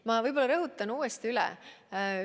Ma võib-olla rõhutan uuesti üle.